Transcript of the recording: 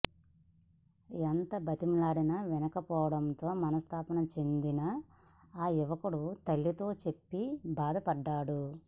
ఎంత బతిమలాడినా వినకపోవడంతో మనస్థాపం చెందిన ఆ యువకుడు తల్లితో చెప్పి బాధపడ్డాడు